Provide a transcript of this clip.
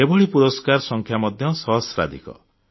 ଏଭଳି ପୁରସ୍କାର ସଂଖ୍ୟା ମଧ୍ୟ ସହସ୍ରାଧିକ